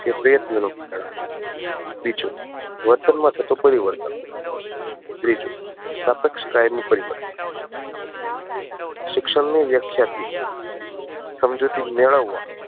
કે બીજો વર્તન માં થતું પરિવર્તન. ત્રીજું સ્તાપેક્ષ કાયમી પરિવર્તન શિક્ષણ ની વ્યાખ્યા થી સમજૂતી મેળવવા